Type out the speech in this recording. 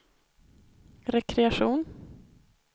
rekreation